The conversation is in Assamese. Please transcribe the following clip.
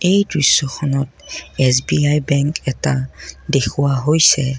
এই দৃশ্যখনত এছ_বি_আই বেঙ্ক এটা দেখুওৱা হৈছে।